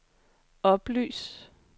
oplys